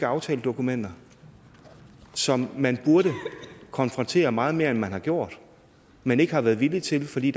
aftaledokumenter som man burde konfrontere meget mere end man har gjort men ikke har været villig til fordi